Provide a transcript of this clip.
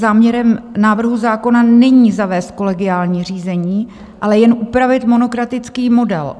Záměrem návrhu zákona není zavést kolegiální řízení, ale jen upravit monokratický model.